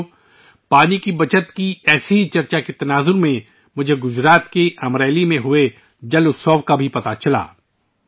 ساتھیو، پانی کے تحفظ پر اس طرح کے مباحثے کے درمیان؛ مجھے گجرات کے امریلی میں منعقد ہونے والے ' جل اتسو ' کے بارے میں معلوم ہوا